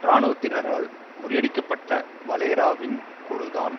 இராணுவத்தினரால் முறியடிக்கப்பட்ட வலேரா வின் குழுதான்